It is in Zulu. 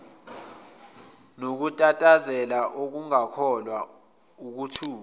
nokutatazela ukungakholwa ukuthuka